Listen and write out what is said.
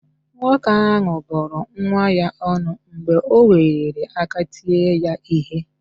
Nwoke ahụ bụrụ nwa ya ọnụ mgbe o weliri aka tie ya ihe